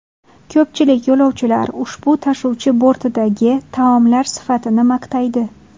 Ko‘pchilik yo‘lovchilar ushbu tashuvchi bortidagi taomlar sifatini maqtaydi.